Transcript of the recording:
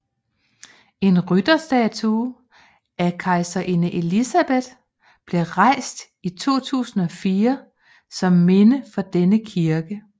En rytterstatue af kejserinde Elisabeth blev rejst i 2004 som minde for denne kirke